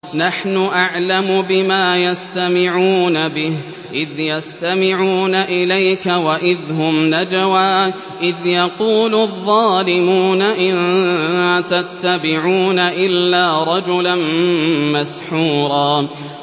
نَّحْنُ أَعْلَمُ بِمَا يَسْتَمِعُونَ بِهِ إِذْ يَسْتَمِعُونَ إِلَيْكَ وَإِذْ هُمْ نَجْوَىٰ إِذْ يَقُولُ الظَّالِمُونَ إِن تَتَّبِعُونَ إِلَّا رَجُلًا مَّسْحُورًا